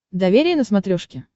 доверие на смотрешке